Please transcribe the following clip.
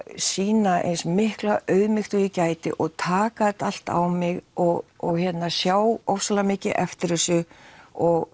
sýna eins mikla auðmýkt og ég gæti og taka þetta allt á mig og og sjá ofsalega mikið eftir þessu og